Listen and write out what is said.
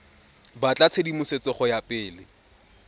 batla tshedimosetso go ya pele